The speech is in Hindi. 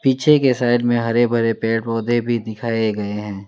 पीछे के साइड में हरे भरे पेड़ पौधे भी दिखाएं गए है।